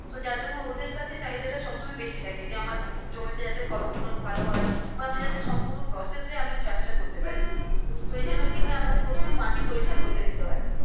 তো যারজন্য ওদের কাছে চাহিদা টা সবসময় বেশি থাকে যে আমার জমিতে যাতে ফল গুলো ভালো হয় বা আমি যাতে সম্পূর্ণ process এ চাষ টা করতে পারি তো এই জন্য কি হয় তো আমাদের প্রথমে মাটি পরীক্ষা করতে দিতে হয়